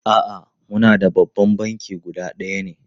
A'a, muna da babban banki guda ɗaya ne.